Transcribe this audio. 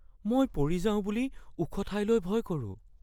মই পৰি যাওঁ বুলি ওখ ঠাইলৈ ভয় কৰোঁ।